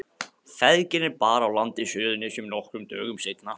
Feðginin bar að landi á Suðurnesjum nokkrum dögum seinna.